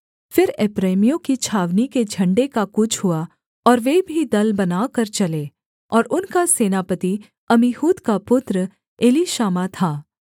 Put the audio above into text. फिर एप्रैमियों की छावनी के झण्डे का कूच हुआ और वे भी दल बनाकर चले और उनका सेनापति अम्मीहूद का पुत्र एलीशामा था